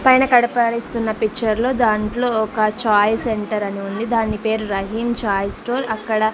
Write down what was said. పైన కడపడిస్తున్న పిక్చర్లో దాంట్లో ఒక ఛాయ్ సెంటర్ అని ఉంది దాని పేరు రహీం చాయ్ స్టోర్ అక్కడ.